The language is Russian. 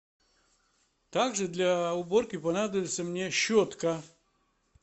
так же для уборки понадобится мне щетка